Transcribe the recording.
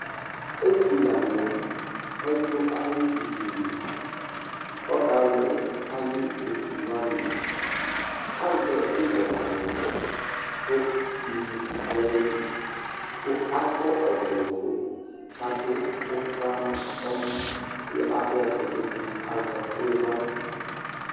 Esi la ni yɛ, ɔdu ayu esi dinie kɔ ka luɛ ayu ɛsi wani, azɛ ibɔ nu aɣla, ku ividi du ayili, ku akɔ ɔvlɛ fue, ka du ufa nu mɔ, ku adu ɛdi bi nu iɣla